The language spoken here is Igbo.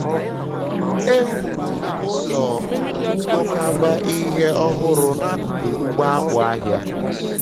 e wuru ụlọ nkwakọba ihe ọhụrụ n'akụkụ ugbo akpụ ahịa.